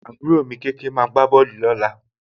àbúrò mi kékeé lọ́kùnrin máa gbá bọ́ọ̀lù lọ́la